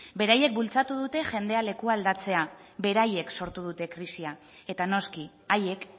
beraiek bultzatu dute jendea leku aldatzea beraiek sortu dute krisia eta noski haiek